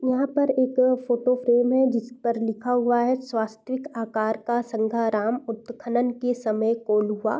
यहाँ पर एक फोटो फ्रेम है जिस पर लिखा हुआ है स्वास्तविक आकार का संघराम उत्खनन के समय कोल्हुआ।